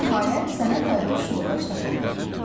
Nəhayət, sənə tay-tuş yoldaş tapıldı.